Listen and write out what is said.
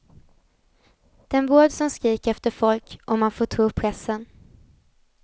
Den vård som skriker efter folk, om man får tro pressen.